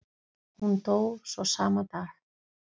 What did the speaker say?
Hún dó svo sama dag.